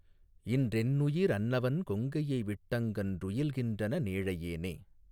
இன்றென்னுயி ரன்னவன் கொங்கையைவிட் டெங்ஙன்றுயில் கின்றன னேழையனே.